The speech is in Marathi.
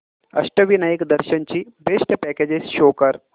अष्टविनायक दर्शन ची बेस्ट पॅकेजेस शो कर